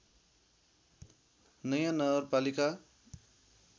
नयाँ नगरपालिका